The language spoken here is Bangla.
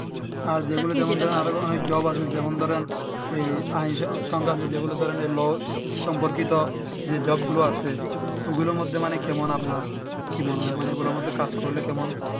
আর যেগুলো যেমন আরো ধরেন job আছে যেমন ধরেন ই আইন সংক্রান্ত যেগুলো ধরেন low সম্পর্কিত যে job গুলো আছে ওগুলোর মধ্যে মানে কেমন আপনার কি মনে হয় মানে ওগুলার মধ্যে কাজ করলে কেমন